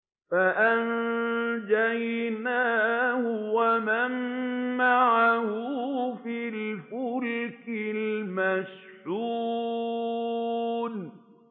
فَأَنجَيْنَاهُ وَمَن مَّعَهُ فِي الْفُلْكِ الْمَشْحُونِ